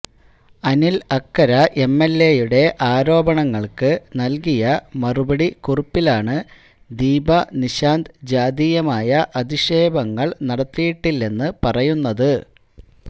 അനില് അക്കര എംഎല്എയുടെ ആരോപണങ്ങള്ക്ക് നല്കിയ മറുപടി കുറിപ്പിലാണ് ദീപ നിശാന്ത് ജാതീയമായ അധിക്ഷേപങ്ങള് നടത്തിയിട്ടില്ലെന്ന് പറയുന്നത്